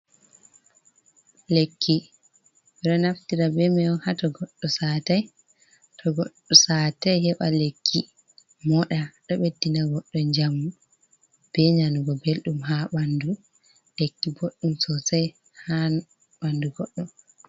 Lekki ɓe ɗo naftira be man on hato goɗɗo satai, to Goɗɗo satai heɓa lekki moɗa ɗo ɓeddina goɗɗo jamu be nanugo belɗum ha ɓandu, lekki boɗɗum sosai ha ɓandu goɗɗo.